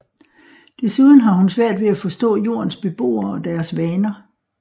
Desuden har hun svært ved at forstå Jordens beboere og deres vaner